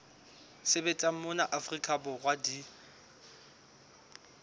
sebetsang mona afrika borwa di